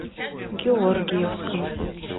георгиевском